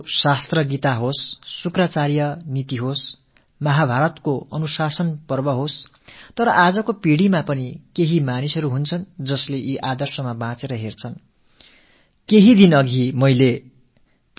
நமது சாத்திரமான கீதையாகட்டும் சுக்ரநீதியாகட்டும் மஹாபாரதத்தின் அனுசாசன பர்வமாகட்டும் அவற்றில் காணப்படும் விஷயங்களை இன்றும் கூட தங்கள் ஆதர்ஸங்களாகக் கருதி வாழ்பவர்கள் இருக்கிறார்கள்